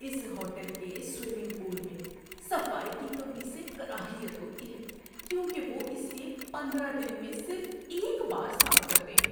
اس hotel کے swimming pool میں صفائی کی کمی سے کراہیت ہوتی ہے کیونکہ وہ اسے پندرہ دن میں صرف ایک بار صاف کرتے ہیں۔